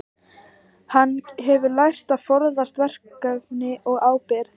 Hann hefur lært að forðast verkefni og ábyrgð.